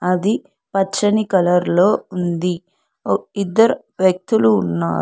అది పచ్చని కలర్ లో ఉంది ఇద్దరు వ్యక్తులు ఉన్నారు.